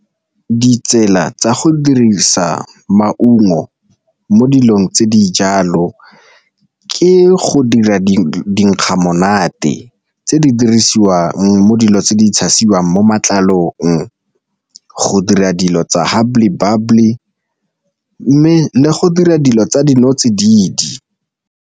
Ditsela tsa go dirisa maungo mo dilong tse di jalo ke go dira dinkga monate tse di dirisiwang mo dilo tse di tshasiwang mo matlalong, go dira dilo tsa hubbly bubbly, mme le go dira dilo tsa dinotsididi.